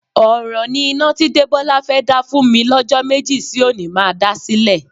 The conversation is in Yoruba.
Ọ̀ràn ni iná tí Débọ́lá fẹ́ dá fún mi lọ́jọ́ méjì sí òní má dá sílẹ̀.